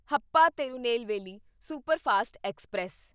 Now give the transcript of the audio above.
Hapa Tirunelveli superfast express